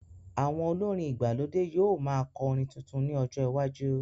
Àwọn olórin ìgbàlódé yóò máa kọ orin tuntun ní ọjọ iwájú